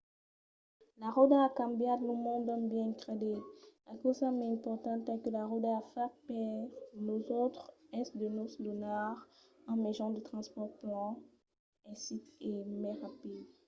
la ròda a cambiat lo mond d’un biais incredible. la causa mai importanta que la ròda a fach per nosautres es de nos donar un mejan de transpòrt plan mai aisit e mai rapid